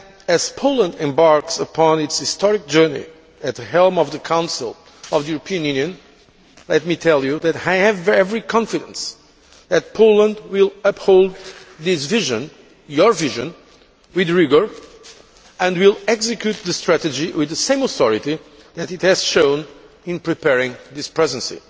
As Poland embarks upon its historic journey at the helm of the Council of the European Union, let me tell you that I have every confidence that Poland will uphold this vision, your vision, with rigour, and will execute the strategy with the same authority that it has shown in preparing this Presidency.